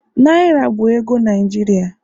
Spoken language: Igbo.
Naira bụ ego Naijiria